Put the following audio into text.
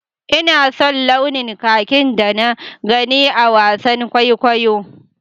Ina son launin kakin da na gani a wasan kwaikwayon.